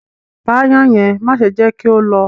Pà àayen yẹn, màṣe jẹ ki ó lọ